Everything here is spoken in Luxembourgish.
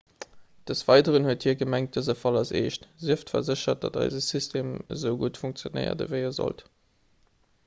des weideren huet hie gemengt dëse fall ass eescht sieft verséchert datt eise system esou gutt funktionéiert ewéi e sollt